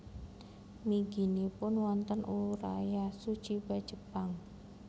Mliginipun wonten Urayasu Chiba Jepang